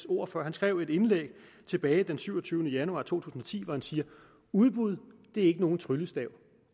ord for han skrev et indlæg den syvogtyvende januar to tusind og ti han siger udbud er ikke nogen tryllestav